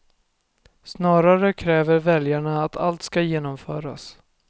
Snarare kräver väljarna att allt ska genomföras.